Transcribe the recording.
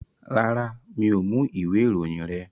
Rárá, mi ò mú ìwé ìròyìn rẹ.